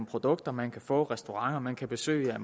produkter man kan få hvilke restauranter man kan besøge det er